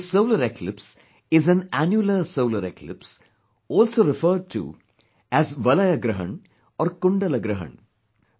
This solar eclipse is an annular solar eclipse, also referred to as 'Valay Grahan' or 'Kundal Grahan'